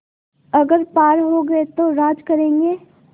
अगर पार हो गये तो राज करेंगे